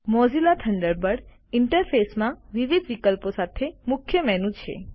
Mozilla Thunderbird ઈન્ટરફેસમાં વિવિધ વિકલ્પો સાથે મુખ્ય મેનુ છે